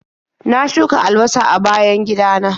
Na shuka albasa a bayan gidana.